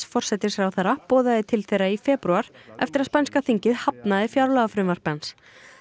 forsætisráðherra boðaði til þeirra í febrúar eftir að spænska þingið hafnaði fjárlagafrumvarpi hans